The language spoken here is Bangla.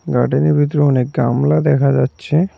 গার্ডেন -এর ভিতরে অনেক গামলা দেখা যাচ্ছে।